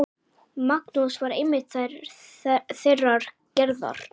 Magnús var einmitt þeirrar gerðar.